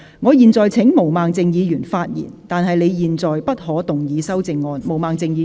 我現在請毛孟靜議員發言，但她在現階段不可動議修正案。